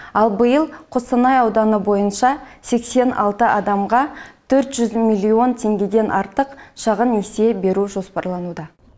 ал биыл қостанай ауданы бойынша сексен алты адамға төрт жүз миллион теңгеден артық шағын несие беру жоспарлануда